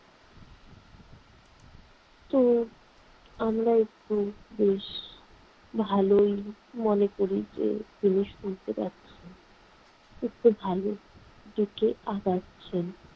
তো আমরা একটু বেশ ভালোই মনে করি যে তিনি শুনতে পাচ্ছেন। একটু ভালোর দিকে আগাচ্ছেন।